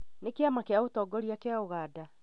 Nĩ kĩama kĩa ũtongoria gia ũganda